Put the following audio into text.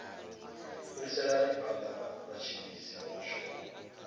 fhiriselani phanda vhatshimbidzi vha mushumo